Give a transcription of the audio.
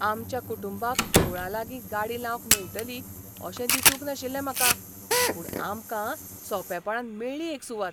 आमच्या कुटुंबाक देवळालागीं गाडी लावंक मेळटली अशें दिसूंक नाशिल्लें म्हाका, पूण आमकां सोंपेपणान मेळ्ळी एक सुवात.